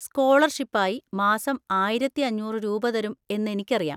സ്കോളർഷിപ്പായി മാസം ആയിരത്തി അഞ്ഞൂറ് രൂപ തരും എന്ന് എനിക്കറിയാം.